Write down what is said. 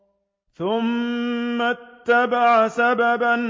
ثُمَّ أَتْبَعَ سَبَبًا